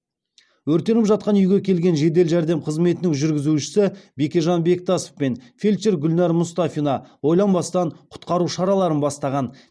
өртеніп жатқан үйге келген жедел жәрдем қызметінің жүргізушісі бекежан бектасов пен фельдшер гүлнар мұстафина ойланбастан құтқару шараларын бастаған